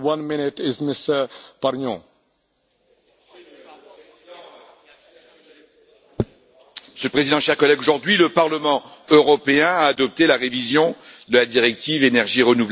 Monsieur le Président, chers collègues, aujourd'hui le Parlement européen a adopté la révision de la directive Énergies renouvelables.